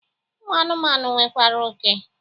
Ụmụ anụmanụ nwekwara oke.